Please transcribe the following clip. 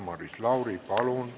Maris Lauri, palun!